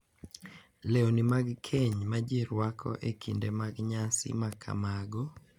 Lewni mag keny ma ji rwako e kinde mag nyasi ma kamago,